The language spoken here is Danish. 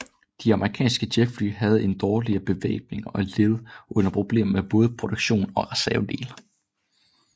De amerikanske jetfly havde en dårligere bevæbning og led under problemer med både produktion og reservedele